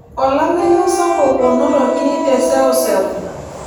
Olameyu sapuk onotoki te seuseu.